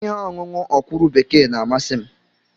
Ihe ọṅụṅụ ọkwụrụ bekee na-amasị m.